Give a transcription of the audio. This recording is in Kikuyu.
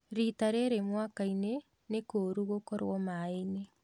Rita rĩrĩ mwakainĩ nĩ kũũru gũkorwo maĩinĩ